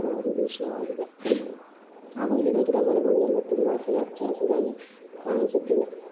ಒಂದು ದೃಶ್ಯವಾಗಿದೆ. ಹಾಗು ಇಲ್ಲಿನ ಗಿಡ ಮರಗಳು ಎಲ್ಲ ತುಂಬ ಹಸಿರು ಹಚ್ಚ ಹಸಿರಾಗಿ ಕಾಣಿಸುತ್ತಿದೆ .